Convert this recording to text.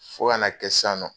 Fo ka na kɛ sisan nɔ